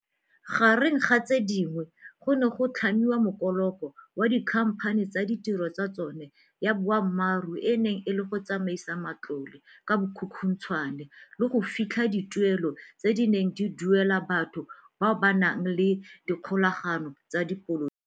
Gareng ga tse dingwe, go ne ga tlhamiwa mokoloko wa dikhamphani tse tiro ya tsona ya boammaruri e neng e le go tsamaisa matlole ka bokhukhuntshwane le go fitlha dituelo tse di neng di duelwa batho bao ba nang le dikgolagano tsa sepolotiki.